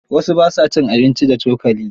Wasu ba sa cin abinci da cokali.